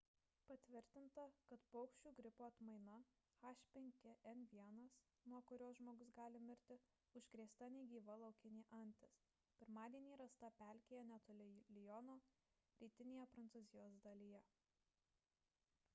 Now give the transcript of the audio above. patvirtinta kad paukščių gripo atmaina h5n1 nuo kurios žmogus gali mirti užkrėsta negyva laukinė antis pirmadienį rasta pelkėje netoli liono rytinėje prancūzijos dalyje